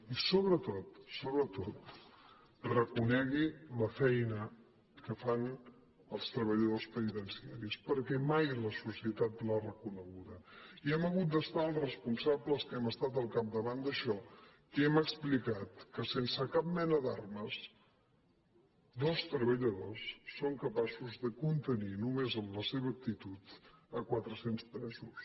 i sobretot sobretot reconegui la feina que fan els treballadors penitenciaris perquè mai la societat l’ha reconeguda i hem hagut de ser els responsables que hem estat al capdavant d’això que hem explicat que sense cap mena d’armes dos treballadors són capaços de contenir només amb la seva actitud quatrecents presos